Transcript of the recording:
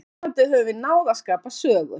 Vonandi höfum við náð að skapa sögu.